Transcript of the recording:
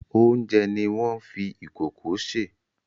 Oúnjẹ ni wọ́n fi ìkòkò sè.